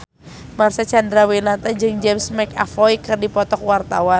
Marcel Chandrawinata jeung James McAvoy keur dipoto ku wartawan